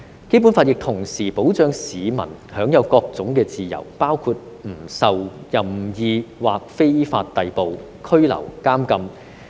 《基本法》亦同時保障市民享有各種自由，包括"不受任意或非法逮捕、拘留、監禁。